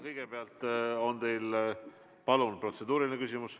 Kõigepealt on teil, palun, protseduuriline küsimus.